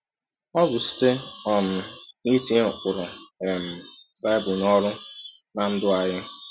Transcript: Ọ bụ site um n’itinye ụkpụrụ um Bible n’ọrụ ná ndụ anyị. um